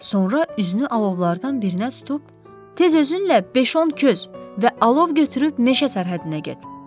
Sonra üzünü alovlardan birinə tutub, tez özünlə beş-on köz və alov götürüb meşə sərhəddinə get.